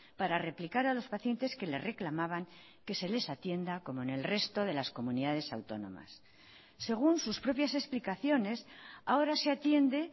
para replicar a los pacientes que le reclamaban que se les atienda como en el resto de las comunidades autónomas según sus propias explicaciones ahora se atiende